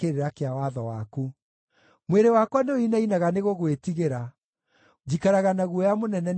Mwĩrĩ wakwa nĩũinainaga nĩgũgwĩtigĩra; njikaraga na guoya mũnene nĩ ũndũ wa mawatho maku.